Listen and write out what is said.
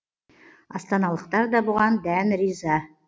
астаналықтар да бұған дән риза